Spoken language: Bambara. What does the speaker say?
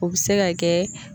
O bɛ se ka kɛ